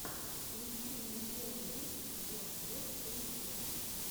включи мне первый выпуск бос бос калибос